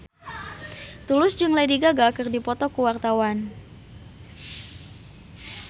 Tulus jeung Lady Gaga keur dipoto ku wartawan